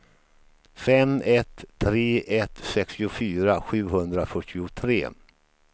fem ett tre ett sextiofyra sjuhundrafyrtiotre